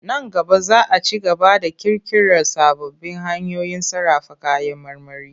Nan gaba za a ci gaba da ƙirƙirar sababbin hanyoyin sarrafa kayan marmari.